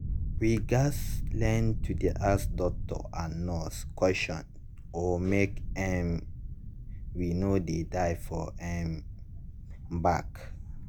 we gats learn to dey ask doctor and nurse questions o make um we no dey die for um back.